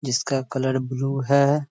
जिसका colour blue है।